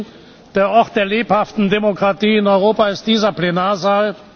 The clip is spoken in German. Sie sehen, der Ort der lebhaften Demokratie in Europa ist dieser Plenarsaal.